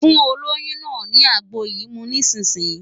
Fún olóyún náà ní àgbo yìí mu nísìnyín!